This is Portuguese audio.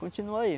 Continua aí.